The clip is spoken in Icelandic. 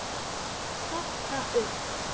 Stokka upp.